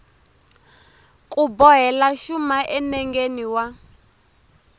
ku bohela xuma enengeni wa